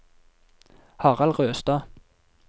Harald Røstad